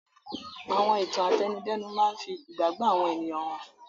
Àwọn ìtàn àtẹnudẹ́nu máa ń fi ìgbàgbọ́ àwọn ènìyàn hàn.